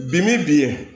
Bi min bi yen